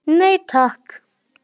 Nei, takk.